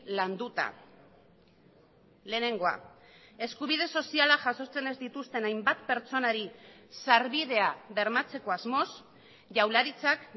landuta lehenengoa eskubide soziala jasotzen ez dituzten hainbat pertsonari sarbidea bermatzeko asmoz jaurlaritzak